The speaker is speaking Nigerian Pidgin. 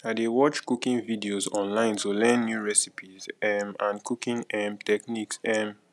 i dey watch cooking videos online to learn new recipes um and cooking um techniques um